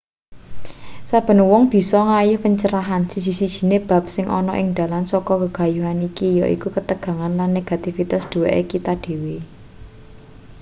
saben wong bisa nggayuh pencerahan siji-sijine bab sing ana ing dalan saka gegayuhan iki yaiku ketegangan lan negativitas duweke kita dhewe